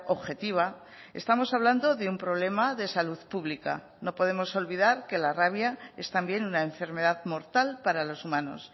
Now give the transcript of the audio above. objetiva estamos hablando de un problema de salud pública no podemos olvidar que la rabia es también una enfermedad mortal para los humanos